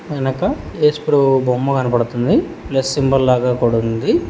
వెనక ఏసుప్రభు బొమ్మ కనబడుతుంది ప్లస్ సింబల్ లాగా కూడా ఉంది.